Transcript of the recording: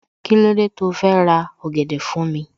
Kílódé tó fẹ́ ra ọ̀gẹ̀dẹ̀ fún mi